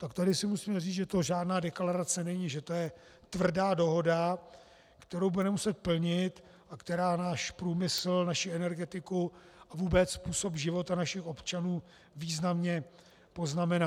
Tak tady si musíme říct, že to žádná deklarace není, že to je tvrdá dohoda, kterou budeme muset plnit a která náš průmysl, naši energetiku a vůbec způsob života našich občanů významně poznamená.